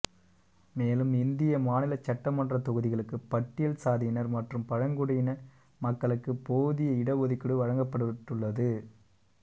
மேலும் இந்திய மாநில சட்டமன்ற தொகுதிகளுக்கு பட்டியல் சாதியினர் மற்றும் பழங்குடியின மக்களுக்கு போதிய இட ஒதுக்கீடு வழங்கப்பட்டுள்ளது